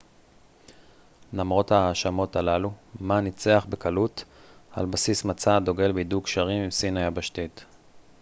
למרות ההאשמות הללו מא ניצח בקלות על בסיס מצע הדוגל בהידוק קשרים עם סין היבשתית